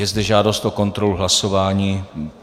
Je zde žádost o kontrolu hlasování.